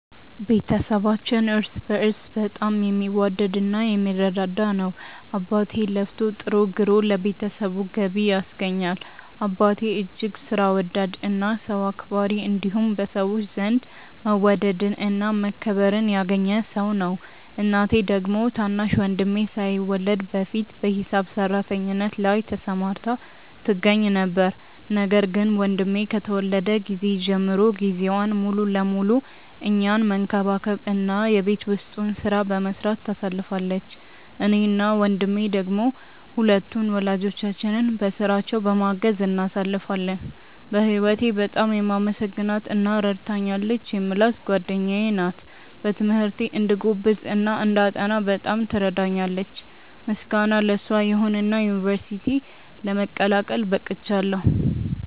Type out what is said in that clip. ቤተሰባችን እርስ በእርስ በጣም የሚዋደድ እና የሚረዳዳ ነው። አባቴ ለፍቶ ጥሮ ግሮ ለቤተሰቡ ገቢ ያስገኛል። አባቴ እጅግ ሥራ ወዳድ እና ሰው አክባሪ እንዲሁም በሰዎች ዘንድ መወደድን እና መከበርን ያገኘ ሰው ነው። እናቴ ደግሞ ታናሽ ወንድሜ ሳይወለድ በፊት በሂሳብ ሰራተኝነት ላይ ተሰማርታ ትገኛ ነበር፤ ነገር ግን ወንድሜ ከተወለደ ጊዜ ጀምሮ ጊዜዋን ሙሉ ለሙሉ እኛን መንከባከብ እና የቤት ውስጡን ሥራ በመስራት ታሳልፋለች። እኔ እና ወንድሜ ደሞ ሁለቱን ወላጆቻችንን በሥራቸው በማገዝ እናሳልፋለን። በህወቴ በጣም የማመሰግናት እና ረድታኛለች የምላት ጓደኛዬ ናት። በትምህርቴ እንድጎብዝ እና እንዳጠና በጣም ትረዳኛለች። ምስጋና ለሷ ይሁንና ዩንቨርስቲ ለመቀላቀል በቅቻለው።